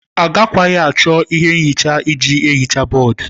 Agakwaghị achọ ihe nhicha iji hichaa bọọdụ.